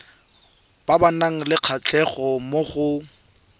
ba nang le kgatlhego mo